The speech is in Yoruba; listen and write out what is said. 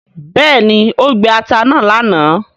béèni o gbé atá náa lànà.